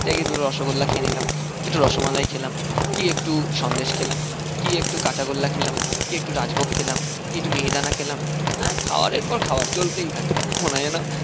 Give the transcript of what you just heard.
গিয়ে দুটো রসগোল্লা খেয়ে নিলাম একটু রসমালাই খেলাম কি একটু সন্দেশ খেলাম কি একটু কাঁচা গোল্লা খেলাম কি একটু রাজভোগ খেলাম কি একটু মিহিদানা খেলাম খাওয়ারের পর খাওয়ার চলতেই থাকে মনে হয় যেন,